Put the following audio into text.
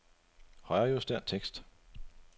Højrejuster tekst.